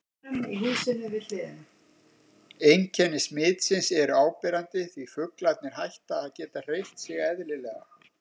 Einkenni smitsins eru áberandi því fuglarnir hætta að geta hreyft sig eðlilega.